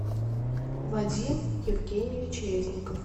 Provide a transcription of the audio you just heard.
вадим евгеньевич резников